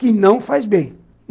Que não faz bem.